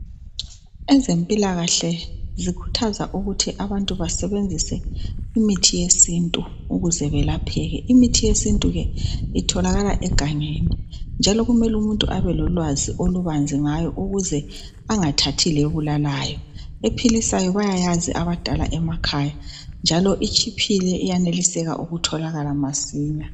Ezempilakahle zikhuthaza ukuthi abantu basebenzise imithi yesintu ukuze belapheke. Imithi yesintu le itholakala egangeni. Njalo kumele umuntu abelolwazi olubanzi ngayo ukuze angathathi lebulalayo. Ephilisayo bayayazi abadala emakhaya njalo itshiphile iyaneliseka ukutholakala masinya.